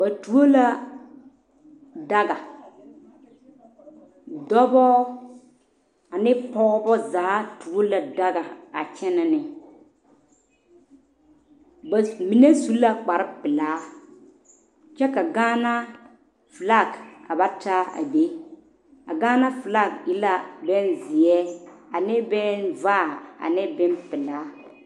Ba tuo la daga dɔbo ane pɔgeba zaa tuo la daga a kyɛnɛne ba mine su la kpaare pɛle kyɛ ka gaana felaŋ ta a be a gaana felaŋ e la beŋ seɛ ane beŋ vaɛ ne beŋ pɛle.